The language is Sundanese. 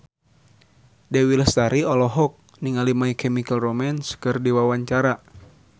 Dewi Lestari olohok ningali My Chemical Romance keur diwawancara